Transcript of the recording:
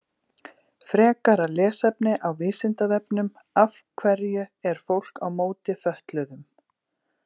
Frekara lesefni á Vísindavefnum Af hverju er fólk á móti fötluðum?